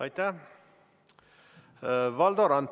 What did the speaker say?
Aitäh!